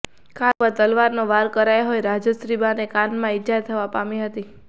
car ઉપર તલવારનો વાર કરાયો હોય રાજશ્રીબાને કાનમાં ઇજા થવાં પામી હતી